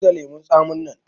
Zubar da lemun tsamin nan!